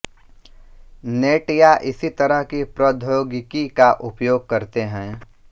net या इसी तरह की प्रौद्योगिकी का उपयोग करते हैं